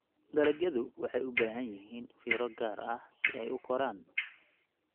Dalagyadu waxay u baahan yihiin fiiro gaar ah si ay u koraan.